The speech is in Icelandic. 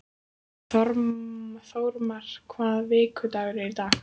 Þórmar, hvaða vikudagur er í dag?